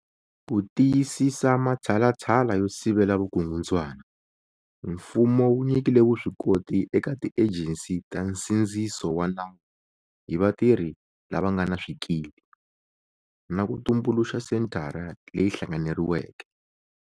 Ku tiyisisa matshalatshala yo sivela vukungundzwana, Mfumo wu nyikile vuswikoti eka tiejensi ta nsindziso wa nawu hi vatirhi lava nga na swikili, na ku tumbuluxa Senthara leyi Hlanganeriweke.